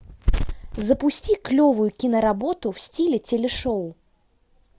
запусти клевую киноработу в стиле телешоу